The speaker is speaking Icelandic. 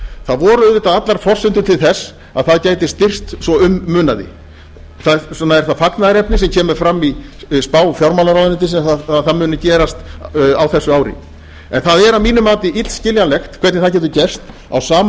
það voru auðvitað allar forsendur til þess að það gæti styrkst svo um munaði þess vegna er það fagnaðarefni sem kemur fram í spá fjármálaráðuneytisins að það muni gerast á þessu ári en það er að mínu mati illskiljanlegt hvernig það getur gerst á sama